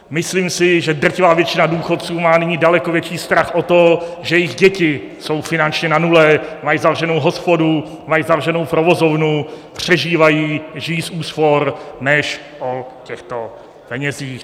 Myslím si, že drtivá většina důchodců má nyní daleko větší strach o to, že jejich děti jsou finančně na nule, mají zavřenou hospodu, mají zavřenou provozovnu, přežívají, žijí z úspor, než o těchto penězích.